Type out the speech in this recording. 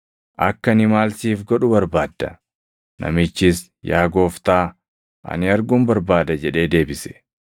“Akka ani maal siif godhu barbaadda?” Namichis, “Yaa Gooftaa, ani arguun barbaada” jedhee deebise.